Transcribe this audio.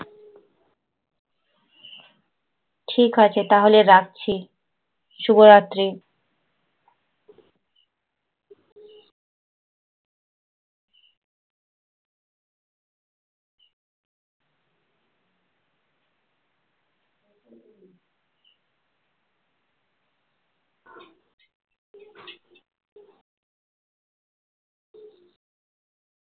ঠিক আছে তাহলে রাখছি । শুভরাত্রি।